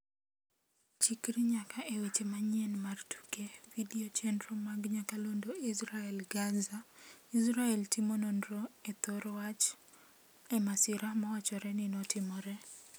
Chikri nyaka e weche manyien mar tuke video chenro mag nyakalondo Israel-Gaza: Israel timo nonro e thoro wach e masira mawachore ni notimore